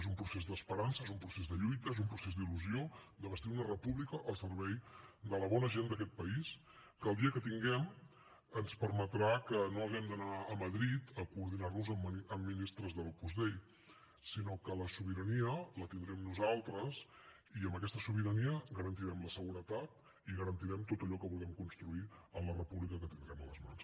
és un procés d’esperança és un procés de lluita és un procés d’il·lusió de bastir una república al servei de la bona gent d’aquest país que el dia que la tinguem ens permetrà que no haguem d’anar a madrid a coordinar nos amb ministres de l’opus dei sinó que la sobirania la tindrem nosaltres i amb aquesta sobirania garantirem la seguretat i garantirem tot allò que vulguem construir en la república que tindrem a les mans